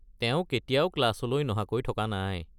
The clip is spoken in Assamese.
তেওঁ কেতিয়াও ক্লাছলৈ নহাকৈ থকা নাই।